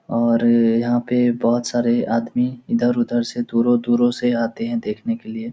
और यहाँ पे बोहोत सारे आदमी इधर उधर से दुरो-दुरो से आते है देखने के लिए --